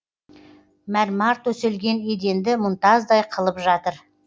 мәрмар төселген еденді мұнтаздай қылып жатыр